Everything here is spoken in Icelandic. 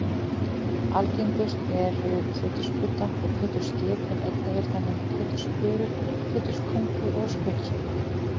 Algengust eru pétursbudda og pétursskip en einnig eru þau nefnd pétursbörur, péturspungur og skötuskip.